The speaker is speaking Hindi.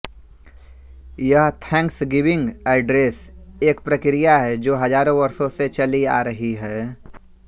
यह थैंक्सगिविंग एड्रेस एक प्रक्रिया है जो हजारों वर्षों से चली आ रही है